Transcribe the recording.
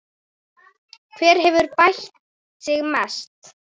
Hver hefur bætt sig mest?